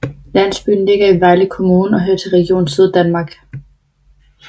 Landsbyen ligger i Vejle Kommune og hører til Region Syddanmark